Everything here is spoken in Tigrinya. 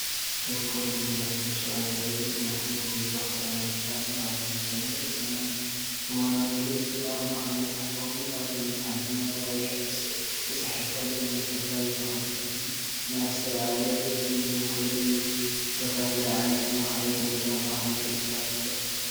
እዚ ኮለጅ ዩኒቨርሲቲ ሸባ ዘርኢ እዩ። ንኹሉ ዘዘኻኽረና ብጫ ዕምባባታት ዝተመልአ ሰማይ ዘለዎ እዋናዊ ትርኢት እዩ። ኣብ ማእኸል መፅሓፍ ተቐሚጡ ኣብዛ መፅሓፍ ድማ ብቀይሕ'ኤስ'ተፃሒፉ ኣሎ። እዚ ንዝተፈላለዩ ተኽእሎታትን ንኣስተውዓሊ ርእይቶን ዝውክል እዩ። ዝተፈላለየ ዓይነት ማእከላይ ደረጃን ማእከላይ ፍርያትን እዩ።